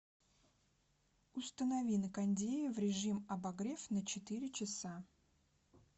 установи на кондее в режим обогрев на четыре часа